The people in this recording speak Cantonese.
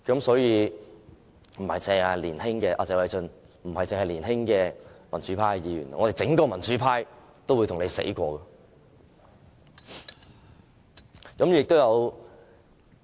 所以，謝偉俊議員，不單是年輕民主派議員，我們整個民主派都會跟你來真的。